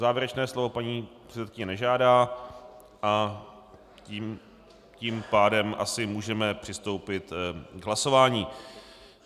Závěrečné slovo paní předsedkyně nežádá, a tím pádem asi můžeme přistoupit k hlasování.